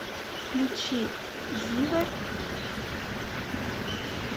включи зиверт